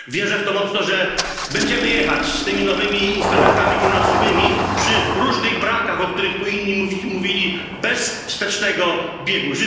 Wierzę w to mocno, że będziemy jechać z tymi nowymi instrumentami finansowymi przy różnych brakach, o których tu inni mówili bez wstecznego biegu.